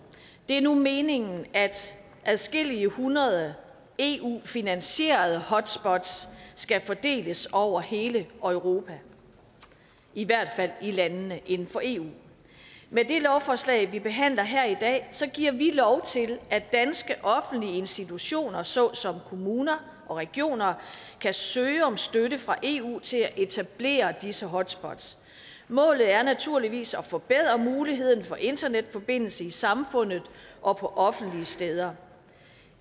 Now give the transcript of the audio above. det er nu meningen at adskillige hundrede eu finansierede hotspots skal fordeles over hele europa i hvert fald i landene inden for eu med det lovforslag vi behandler her i dag giver vi lov til at danske offentlige institutioner såsom kommuner og regioner kan søge om støtte fra eu til at etablere disse hotspots målet er naturligvis at forbedre muligheden for internetforbindelser i samfundet og på offentlige steder